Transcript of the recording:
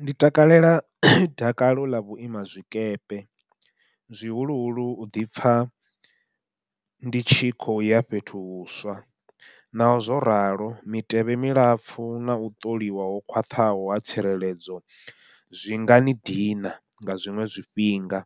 Ndi takalela dakalo ḽa vhuima zwikepe, zwihuluhulu u ḓipfha ndi tshikho ya fhethu huswa. Naho zwo ralo mitevhe milapfhu nau ṱoliwa ho khwaṱhaho ha tsireledzo, zwi ngani dina nga zwiṅwe zwifhinga